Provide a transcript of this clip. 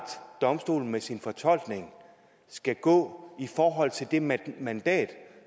domstolen med sin fortolkning skal gå i forhold til det mandat mandat